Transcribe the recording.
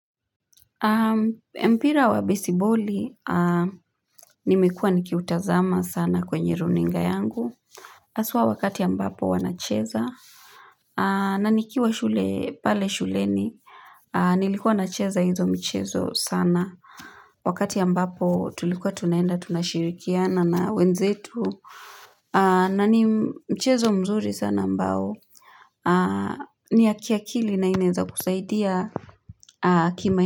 Mpira wa besiboli, nimekuwa nikiutazama sana kwenye runinga yangu haswa wakati ambapo wanacheza na nikiwa shule, pale shuleni Nilikuwa nacheza hizo michezo sana Wakati ambapo tulikuwa tunaenda, tunashirikiana na wenzetu na ni mchezo mzuri sana ambao ni ya kiakili na inaweza kusaidia kima.